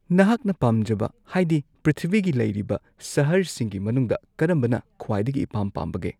ꯅꯍꯥꯛꯅ ꯄꯥꯝꯖꯕ ꯍꯥꯏꯗꯤ ꯄ꯭ꯔꯤꯊꯤꯕꯤꯒꯤ ꯂꯩꯔꯤꯕ ꯁꯍꯔꯁꯤꯡꯒꯤ ꯃꯅꯨꯡꯗ ꯀꯔꯝꯕꯅ ꯈ꯭ꯋꯥꯏꯗꯒꯤ ꯏꯄꯥꯝ ꯄꯥꯝꯕꯒꯦ